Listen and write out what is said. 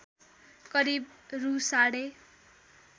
करिब रु साढे